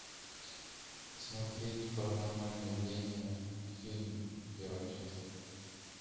смотреть паранормальное явление фильм первая часть